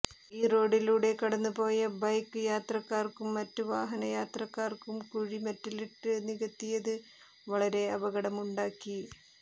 ഈ റോഡിലൂടെ കടന്നുപോയ ബൈക്ക് യാത്രക്കാര്ക്കും മറ്റ് വാഹനയാത്രയ്ക്കാര്ക്കും കുഴി മെറ്റലിട്ട് നികത്തിയത് വളരെ അപകടമുണ്ടാക്കി